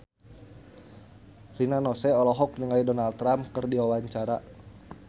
Rina Nose olohok ningali Donald Trump keur diwawancara